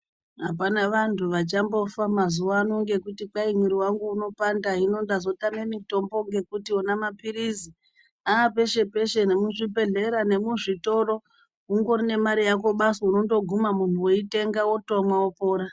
Apana vantu vachambofa mazuwano ngekuti kwai mwiri wangu unopanda hino ndazotame mitombo ngekuti wona napilizi apeshe peshe nemuzvibhedhlera nemu zvitoro ungori nemari yako basi unondoguma muntu weitenga wotomwa wopora.